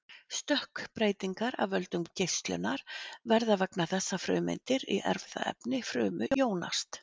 Stökkbreytingar af völdum geislunar verða vegna þess að frumeindir í erfðaefni frumu jónast.